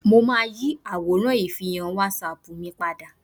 Mo máa yí àwòrán ìfihàn wásapù mi padà